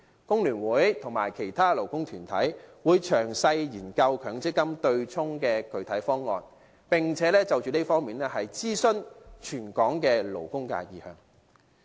工聯會和其他勞工團體會詳細研究強積金對沖的具體方案，並且就這方面諮詢全港勞工界的意向。